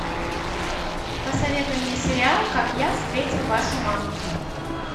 посоветуй мне сериал как я встретил вашу маму